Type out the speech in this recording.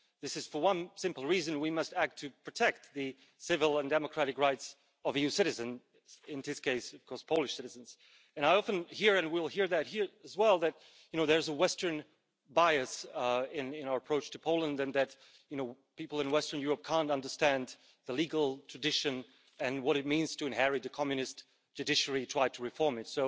This is for one simple reason we must act to protect the civil and democratic rights of EU citizens, in this case Polish citizens. I often hear and we'll hear it here as well that there's a Western bias in our approach to Poland and that people in western Europe can't understand the legal tradition and what it means to inherit the communist judiciary and try to reform it.